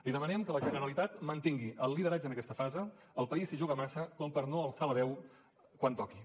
li demanem que la generalitat mantingui el lideratge en aquesta fase el país s’hi juga massa com per no alçar la veu quan toqui